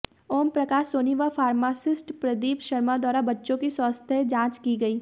ओमप्रकाश सोनी व फार्मासिस्ट प्रदीप शर्मा द्वारा बच्चों की स्वास्थ्य जांच की गई